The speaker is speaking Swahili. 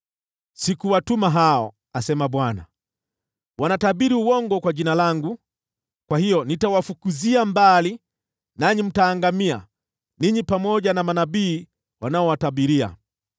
‘Sikuwatuma hao,’ asema Bwana . ‘Wanatabiri uongo kwa jina langu. Kwa hiyo, nitawafukuzia mbali, nanyi mtaangamia, ninyi pamoja na manabii wanaowatabiria.’ ”